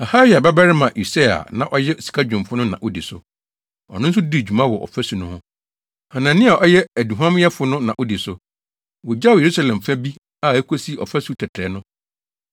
Harhaia babarima Usiel a na ɔyɛ sikadwumfo no na odi so. Ɔno nso dii dwuma wɔ ɔfasu no ho. Hanania a ɔyɛ aduhuamyɛfo no na odi so. Wogyaw Yerusalem fa bi a ekosi Ɔfasu Tɛtrɛɛ no.